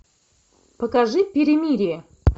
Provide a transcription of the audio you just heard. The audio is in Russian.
покажи перемирие